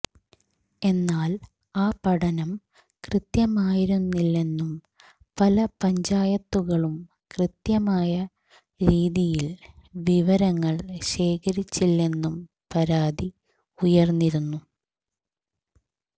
എന്നാൽ ആ പഠനം കൃത്യമായിരുന്നില്ലെന്നും പല പഞ്ചായത്തുകളും കൃത്യമായ രീതിയിൽ വിവരങ്ങൾ ശേഖരിച്ചില്ലെന്നും പരാതി ഉയർന്നിരുന്നു